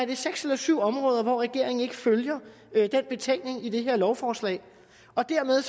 jo seks eller syv områder hvor regeringen ikke følger den betænkning i det her lovforslag og dermed